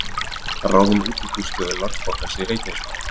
Ráðinn útibússtjóri Landsbankans í Reykjanesbæ